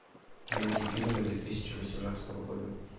найди фильмы две тысячи восемнадцатого года